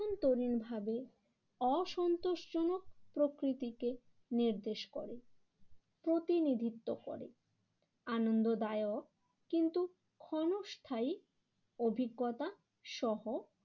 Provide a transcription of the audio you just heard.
ন্তরীণভাবে অসন্তোষজনক প্রকৃতিকে নির্দেশ করে প্রতিনিধিত্ব করে। আনন্দদায়ক কিন্তু ক্ষণস্থায়ী অভিজ্ঞতা সহ